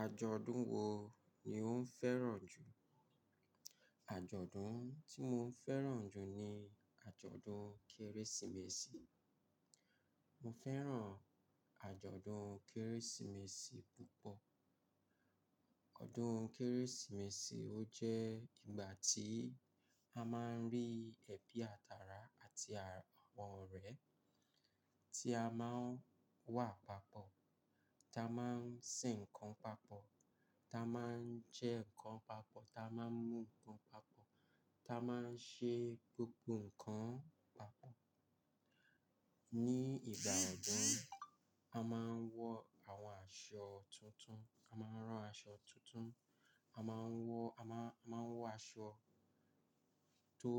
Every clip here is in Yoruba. Àjọ̀dún wo ni ò ń fẹ́ràn jù? Àjọ̀dún tí mo fẹ́ràn jù ni àjọ̀dún Kérésìmesì. Mo fẹ́ràn àjọ̀dún Kérésìmesì púpọ̀. Ọdún Kérésìmesì ó jẹ́ ìgbà tí a máa ń rí ẹbí àtara àti àwọn ọ̀rẹ́ tí a máa ń wà papọ̀, tí a máa ń ṣe nǹkan papọ̀, tí a máa ń jẹ nǹkan papọ̀, tí a máa ń mú nǹkan papọ̀, tí a máa ń ṣe gbogbo nǹkan papọ̀. Ní ìgbà ọdún, a máa ń wọ àwọn aṣọ tuntun, a máa rán aṣọ tuntun, a máa ń wọ, a máa, a máa wọ aṣọ tó,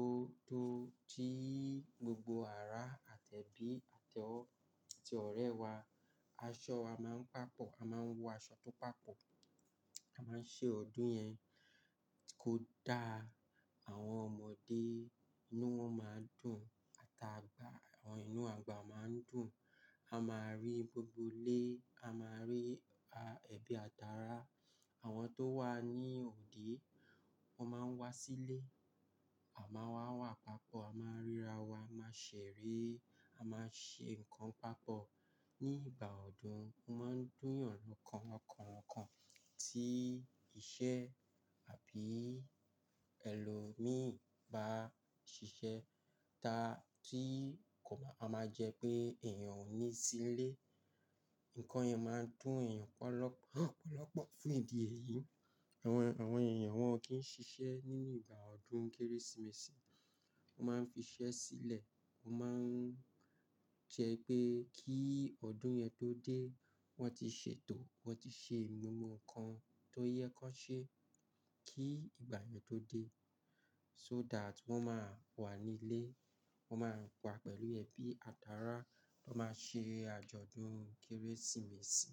tó tí gbogbo ara àti ẹbí àti ọ̀rẹ́ wa. Aṣọ wa máa ń papọ̀, a máa ń wọ aṣọ tó papọ̀, a máa ń ṣe ọdún yẹn kó daá àwọn ọmọdé inú wọn máa dùn àti àgbà, àwọn inú àgbà máa ń dùn. A máa rí gbogbo ilé, a máa rí ẹbí àtara. Àwọn tó wà ní òde, wọ́n máa ń wá sílé. A máa wà wa papọ̀, a máa ríra wa, a máa ṣèrè, a máa ṣe nǹkan papọ̀. Ní ìgbà ọdún, o máa ń dùnyàn lọ́kàn, lọ́kàn, lọ́kàn tí iṣẹ́ àbí ẹlòmíì bá ṣiṣẹ́ ta tí kò máa a máa jẹ́ pé èèyàn ò ní sínlé. Nǹkan yẹn máa ń dùn èèyàn ọ̀pọ̀lọpọ̀, ọ̀pọ̀lọpọ̀ fún ìdí èyí. Àwọn, àwọn èèyàn wọn o kì n ṣiṣẹ́ nínú ìgbà ọdún Kérésìmesì. Wọ́n máa ń fi iṣẹ́ sílẹ̀, wọ́n máa ń jẹ́ wipé kí ọdún yẹn tó dé, wọ́n ti ṣètò, wọ́n ti ṣe gbogbọ̀ nkan tó yẹ kó n ṣe kí ìgbà yẹn tó dé. So that wọ́n máa wà nílé, wọ́n máa wà pẹ̀lú ẹbí àtara, wọ́n máa ṣe àjọ̀dún Kérésìmesì.